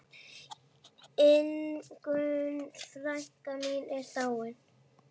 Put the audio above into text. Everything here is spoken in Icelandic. Ingunn frænka mín er dáin.